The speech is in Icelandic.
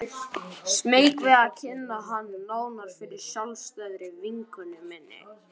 Smeyk við að kynna hann nánar fyrir sjálfstæðri vinkonu minni.